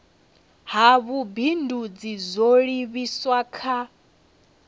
ha vhubindudzi zwo livhiswa kha